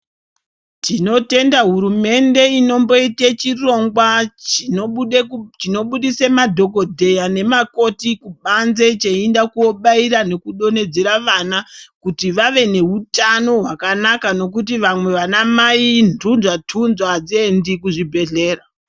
Tinotenda hurumende inomboita chirongwa chinobudisa madhokodheya nana mukoti kubanze cheienda kobaira nekudonhedzera vana kuti vave nehutano hwakanaka ngekuti vamweni ana mai nhunzva tunzva avaendi kuchibhedhlera.